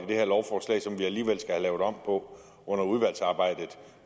det her lovforslag som vi alligevel skal have lavet om på under udvalgsarbejdet